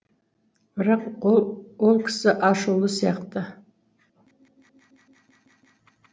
бірақ ол кісі ашулы сияқты